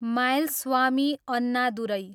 Mylswamy Annadurai